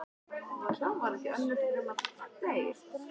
Og hún kemur til mín stúlkan á ströndinni.